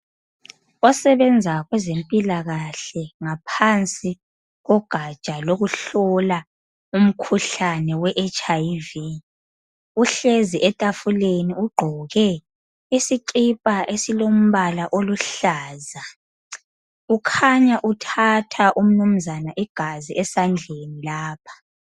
Osebenza kweze mpilakahle ngaphansi kogaja lokuhlola umkhuhlane weHIV uhlezi etafuleni ugqoke isikipa esilombala oluhlaza ukhanya uthatha umnumzana igazi esandleni lapha.